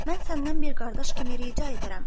Mən səndən bir qardaş kimi rica edirəm.